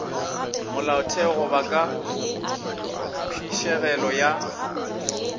molaotheo goba ka phišegelo ya